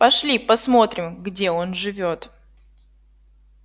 пошли посмотрим где он живёт